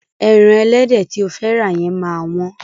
Ẹran ẹlẹ́dẹ̀ tí o fẹ́ rà yẹn máa wọ́n.